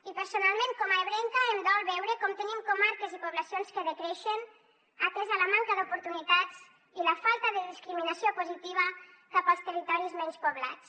i personalment com a ebrenca em dol veure com tenim comarques i poblacions que decreixen atesa la manca d’oportunitats i la falta de discriminació positiva cap als territoris menys poblats